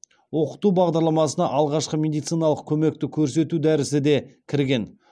оқыту бағдарламасына алғашқы медициналық көмекті көрсету дәрісі де кірген